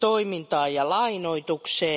toimintaan ja lainoitukseen.